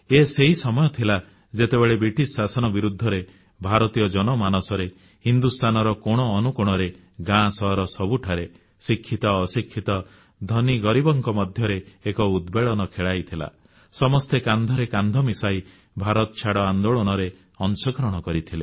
ଏ ସେହି ସମୟ ଥିଲା ଯେତେବେଳେ ବ୍ରିଟିଶ ଶାସନ ବିରୁଦ୍ଧରେ ଭାରତୀୟ ଜନମାନସରେ ହିନ୍ଦୁସ୍ଥାନର କୋଣ ଅନୁକୋଣରେ ଗାଁ ସହର ସବୁଠାରେ ଶିକ୍ଷିତ ଅଶିକ୍ଷିତ ଧନୀ ଗରିବଙ୍କ ମଧ୍ୟରେ ଏକ ଉଦ୍ବେଳନ ଖେଳାଇଥିଲା ସମସ୍ତେ କାନ୍ଧରେ କାନ୍ଧ ମିଶାଇ ଭାରତଛାଡ଼ ଆନ୍ଦୋଳନରେ ଅଂଶଗ୍ରହଣ କରିଥିଲେ